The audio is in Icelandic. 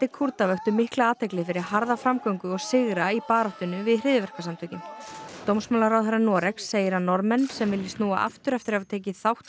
Kúrda vöktu mikla athygli fyrir harða framgöngu og sigra í baráttunni við hryðjuverkasamtökin dómsmálaráðherra Noregs segir að Norðmenn sem vilji snúa aftur eftir að hafa tekið þátt í